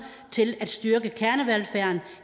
til at styrke kernevelfærden